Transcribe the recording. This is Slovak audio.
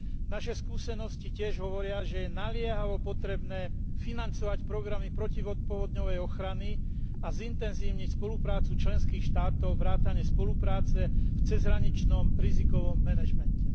Naše skúsenosti tiež hovoria, že je naliehavo potrebné financovať programy protipovodňovej ochrany a zintenzívniť spoluprácu členských štátov vrátane spolupráce v cezhraničnom rizikovom manažmente.